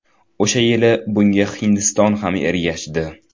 O‘sha yili bunga Hindiston ham ergashdi.